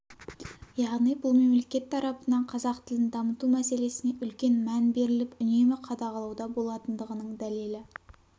яғни бұл мемлекет тарапынан қазақ тілін дамыту мәселесіне үлкен мән беріліп үнемі қадағалауда болатындығының дәлелі